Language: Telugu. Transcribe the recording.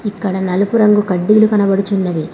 ఇక్కడ నలుపు రంగు కడ్డీలు కనపడుచున్నవి.